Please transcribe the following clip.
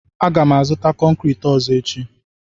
Aga m azụta konkriiti ọzọ echi.